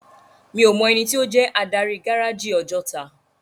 Mi ó mò èniti ó jè ádári gáráji Òjòtá